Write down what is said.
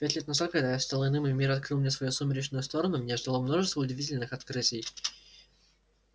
пять лет назад когда я стал иным и мир открыл мне свою сумеречную сторону меня ждало множество удивительных открытий